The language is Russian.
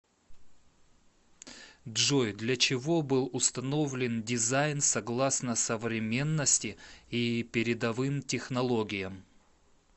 джой для чего был установлен дизайн согласно современности и передовым технологиям